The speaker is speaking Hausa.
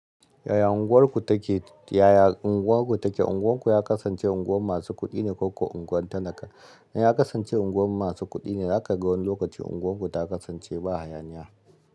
Yaya unguwarku take? Yaya unguwarku take? Unguwanku ya kasance unguwan masu kuɗi ne ko ko unguwan talaka? In ya kasance unguwa masu kuɗi ne, zaka ga wani lokaci unguwarku ta kasance ba hayaniya.